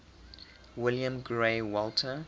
william grey walter